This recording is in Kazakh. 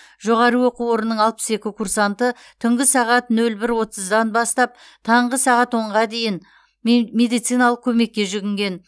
жоғары оқу орнының алпыс екі курсанты түнгі сағат нөл бір отыздан бастап таңғы сағат онға дейін ме медициналық көмекке жүгінген